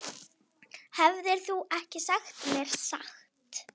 Hefðir þú ekki sagt mér satt?